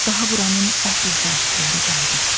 Daha buranın əsl sahibləri qayıdıb.